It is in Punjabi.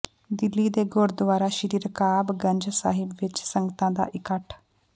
ਦਿੱਲੀ ਦੇ ਗੁਰੁਦਆਰਾ ਸ਼੍ਰੀ ਰਕਾਬ ਗੰਜ ਸਾਹਿਬ ਵਿੱਚ ਸੰਗਤਾਂ ਦਾ ਇਕੱਠ